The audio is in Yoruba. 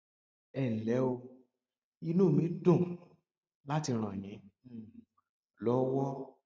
ẹ ǹlẹ o inú mí dùn láti ràn yín um lọwọ